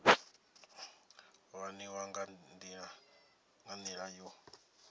u aniwa nga nila yo